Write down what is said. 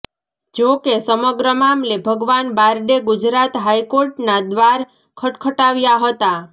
જોકે સમગ્ર મામલે ભગવાન બારડે ગુજરાત હાઈકોર્ટના દ્વાર ખટખટાવ્યા હતા